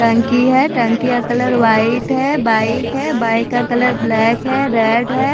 टंकी है टंकी का कलर वाइट है बाइक है बाइक का कलर ब्लैक है रेड है।